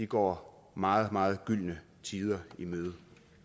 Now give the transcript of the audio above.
går meget meget gyldne tider i møde